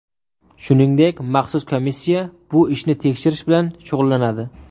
Shuningdek, maxsus komissiya bu ishni tekshirish bilan shug‘ullanadi.